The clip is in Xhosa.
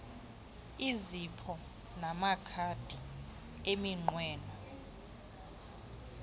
izipho namakhadi eminqweno